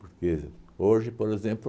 Porque hoje, por exemplo,